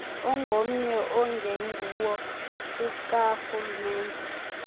ongomnye ongenguwo okarhulumente